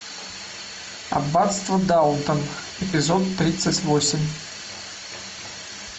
аббатство даунтон эпизод тридцать восемь